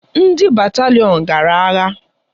Ndị batalịon gara agha.